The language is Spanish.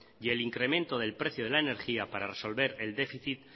y el incremento del precio de la energía para resolver el déficit